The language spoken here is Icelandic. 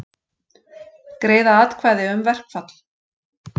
Greiða atkvæði um verkfall